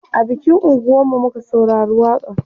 a bikin unguwan mu muka saurari waƙa n